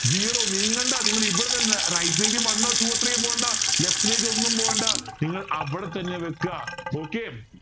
zero നീങ്ങണ്ട നിങ്ങൾ ഇവിടെ തന്നെ right ലേക്ക് one two three പോവണ്ട left ലേക്ക് ഒന്നും പോകേണ്ട നിങ്ങൾ അവിടെ തന്നെ വയ്ക്കുക okay